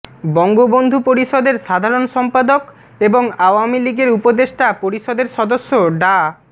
বঙ্গবন্ধু পরিষদের সাধারণ সম্পাদক এবং আওয়ামী লীগের উপদেষ্টা পরিষদের সদস্য ডা